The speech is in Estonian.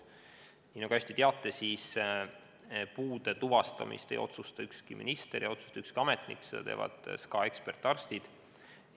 Nagu te hästi teate, ei otsusta puude tuvastamist ükski minister ega ükski ametnik, seda teevad SKA ekspertarstid.